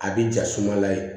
A bi ja sumala ye